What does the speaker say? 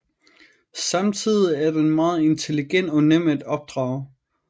Samtidig er den meget intelligent og nem at opdrage